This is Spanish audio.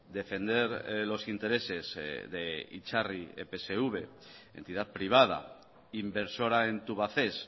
defender los intereses de itzarri epsv entidad privada inversora en tubacex